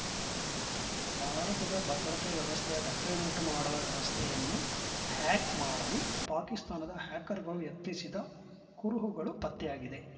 ಭಾರತದ ಭದ್ರತೆ ವ್ಯವಸ್ಥೆಯ ಧಕ್ಕೆಯನ್ನುಂಟು ಮಾಡುವ ವ್ಯವಸ್ಥೆಯನ್ನು ಹ್ಯಾಕ್‌ ಮಾಡಲು ಪಾಕಿಸ್ತಾನದ ಹ್ಯಾಕರ್‌ಗಳು ಯತ್ನಿಸಿದ ಕುರುಹುಗಳು ಪತ್ತೆಯಾಗಿದೆ